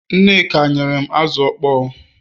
nneka nyerem azu okpo